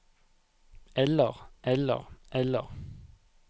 eller eller eller